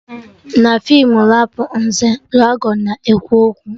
Na feem Rapụnzel, dragọn na-ekwu okwu